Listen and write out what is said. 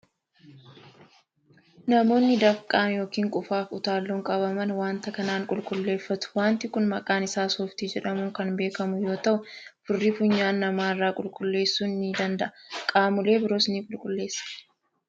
Namoonni dafqan yookiin qufaa fi utaalloon qabaman waanta kanaan qulqulleeffatu. Waanti kun maqaan isaa Sooftii jedhamuun kan beekamu yoo ta'u, furrii funyaan namaa irraa qulqulleessuu ni danda'a. Qaamolee biroos ni qulqulleessa.